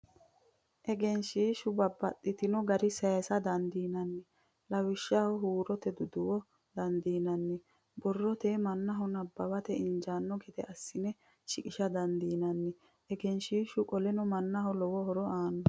Egensiishsha babbaxino garii sayiisa dandiinanni. Lawishshaho huurote duduwa dandiinanni. Borroteyi mannaho nabbawate injaanno gede assine shiqisha dandiinanni. Egensiishshu qoleno mannaho lowo horo aanno.